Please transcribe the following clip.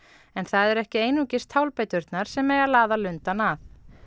en það eru ekki einungis tálbeiturnar sem eiga að laða lundann að